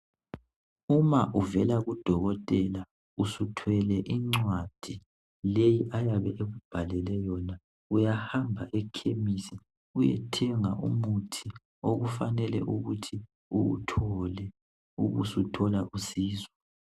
Uma uvela kuDokotela usuthwele incwadi leyo ayabe ekubhalele yona uyahamba ekhemisi uyethenga umuthi okufanele ukuthi uwuthole ubusuthola usizo.